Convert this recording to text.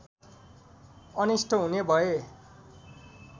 अनिष्ट हुने भय